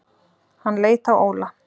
Hann leit á Óla.